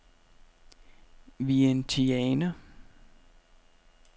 Vientiane